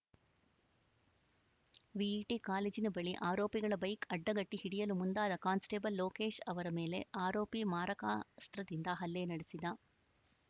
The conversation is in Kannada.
ವಿಐಟಿ ಕಾಲೇಜಿನ ಬಳಿ ಆರೋಪಿಗಳ ಬೈಕ್‌ ಅಡ್ಡಗಟ್ಟಿಹಿಡಿಯಲು ಮುಂದಾದ ಕಾನ್ಸ್‌ಟೇಬಲ್‌ ಲೋಕೇಶ್‌ ಅವರ ಮೇಲೆ ಆರೋಪಿ ಮಾರಾಕಸ್ತ್ರದಿಂದ ಹಲ್ಲೆ ನಡೆಸಿದ